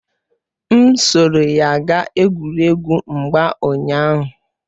M soro ya gaa egwuregwu mgba ụnyaahụ